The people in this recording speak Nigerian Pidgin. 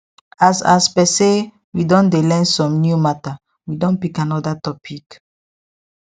as as per say we don dey learn some new matter we don pick another topic